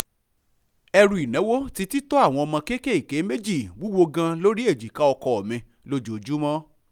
ẹ̀rù ìnáwó ti títọ́ àwọn ọmọ kéékèèké méjì wúwò gan lórí ejìká ọkọ mi lójoojúmọ́